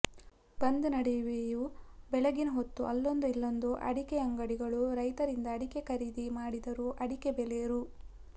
ಬಂದ್ ನಡುವೆಯೂ ಬೆಳಗ್ಗಿನ ಹೊತ್ತು ಅಲ್ಲೊಂದು ಇಲ್ಲೊಂದು ಅಡಿಕೆ ಅಂಗಡಿಗಳು ರೈತರಿಂದ ಅಡಕೆ ಖರೀದಿ ಮಾಡಿದರೂ ಅಡಿಕೆ ಬೆಲೆ ರೂ